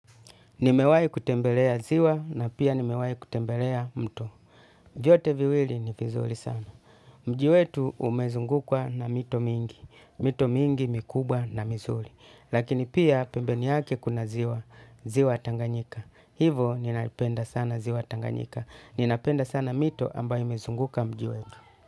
Nimewai kutembelea ziwa na pia nimewai kutembelea mto. Vyote viwili ni vizuri sana. Mji wetu umezungukwa na mito mingi. Mito mingi mikubwa na mizuri. Lakini pia pembeni yake kuna ziwa. Ziwa tanganyika. Hivo ninaipenda sana ziwa tanganyika. Ninapenda sana mito ambayo imezunguka mji wetu.